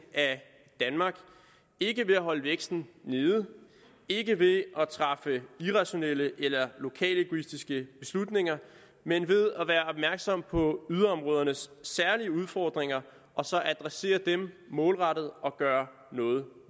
af danmark ikke ved at holde væksten nede ikke ved at træffe irrationelle eller lokalegoistiske beslutninger men ved at være opmærksom på yderområdernes særlige udfordringer og så adressere dem målrettet og gøre noget